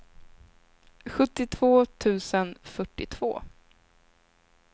sjuttiotvå tusen fyrtiotvå